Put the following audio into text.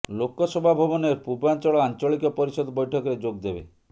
ଲୋକସଭା ଭବନରେ ପୂର୍ବାଞ୍ଚଳ ଆଞ୍ଚଳିକ ପରିଷଦ ବୈଠକରେ ଯୋଗ ଦେବେ